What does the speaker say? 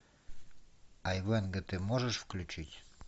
айвенго ты можешь включить